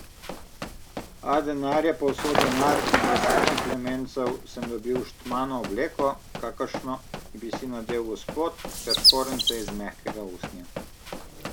A denar je povsod denar in za sedem plemencev sem dobil štmano obleko, kakršno bi si nadel gospod, ter škorenjce iz mehkega usnja.